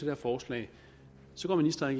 her forslag går ministeren